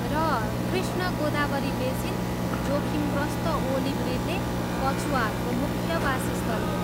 र कृष्ण गोदावरी बेसिन जोखिमग्रस्त olive ridley कछुवाहरूको मुख्य वासस्थल हो।